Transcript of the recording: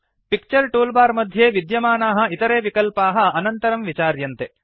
picture toolbar मध्ये विद्यमानाः इतरे विकल्पाः अनन्तरं विचार्यन्ते